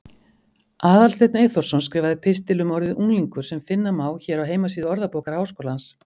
Aðalsteinn Eyþórsson skrifaði pistil um orðið unglingur sem finna má hér á heimasíðu Orðabókar Háskólans.